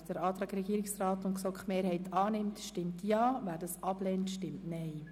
Wer dem Antrag Regierungsrat und GSoK-Mehrheit zustimmt, stimmt Ja, wer diesen ablehnt, stimmt Nein.